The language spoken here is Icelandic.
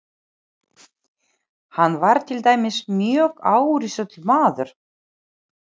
Hann var til dæmis mjög árrisull maður.